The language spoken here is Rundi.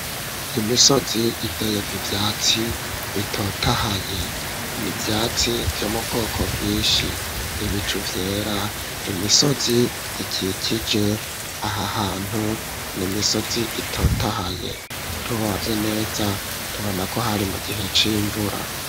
Imisozi iteyeko ivyatsi bitotahaye. Ni ivyatsi vyo mu bwoko bw'inshi, ibicu vyera, imisozi ikikije aha hantu ni imisozi itotahaye. Turavye neza tubona ko hari mu gihe c'imvura.